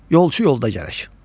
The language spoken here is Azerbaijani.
Yolçu yolda gərək.